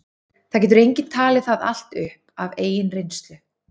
það getur enginn talið það allt upp af eigin reynslu